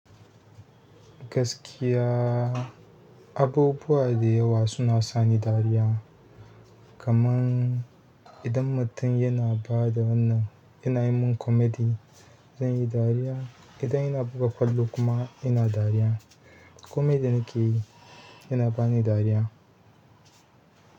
Gaskiya abubuwa da yawa suna sa ni dariya. Kaman idan mutum yana ba da wannan, yana yi mun komedi, zan yi dariya. Idan yana buga ƙwallo kuma yana dariya, komedi ne ke yi, yana bani dariya.